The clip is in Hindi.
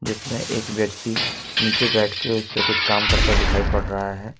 जिसमे एक व्यक्ति नीचे बैठके उसे पर कुछ काम करता दिखाई पड़ रहा है।